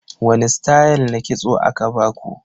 Wani stayal na kitso aka baku?